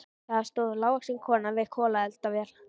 Þar stóð lágvaxin kona við kolaeldavél.